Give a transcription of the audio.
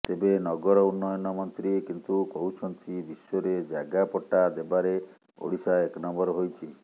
ତେବେ ନଗର ଉନ୍ନୟନ ମନ୍ତ୍ରୀ କିନ୍ତୁ କହୁଛନ୍ତି ବିଶ୍ୱରେ ଜାଗା ପଟ୍ଟା ଦେବାରେ ଓଡିଶା ଏକନମ୍ବର ହୋଇଛି